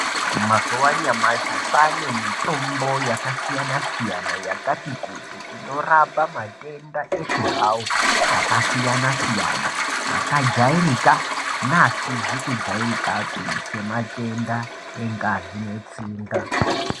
Mazuva anyamashi kwane mitombo yakasiyana siyana yakati kuti inorapa matenda eshe hawo akasiyana siyana akajairika neasizi kujairikapi sematenda engazi netsinga.